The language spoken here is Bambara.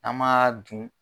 An m'a dun.